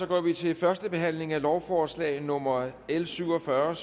går vi til første behandling af lovforslag nummer l syvogfyrreende